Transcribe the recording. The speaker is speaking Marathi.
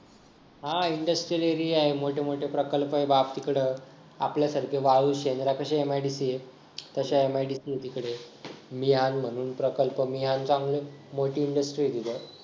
हा industrial area आहे मोठे मोठे प्रकल्प आहे बाप तिकडं आपल्यापेक्षा मोठी MIDC आहे तश्या MIDC आहे तिकडं मियां म्हणून प्रकल्प मियान मोठी industry आहे तिथं